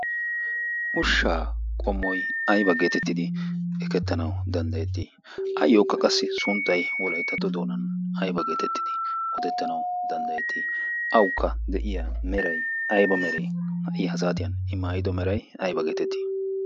ushshaa qommoy ayba geetettidi ekettanau danddayettii ayyookka qassi sunttai wolaittatto doonan aiba geetettidi ootettanau danddayettii aukka de'iya merai aiba merai ha'i hasaatiyan imaayido merai ayba geetettii?